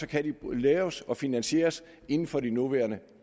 kan de laves og finansieres inden for de nuværende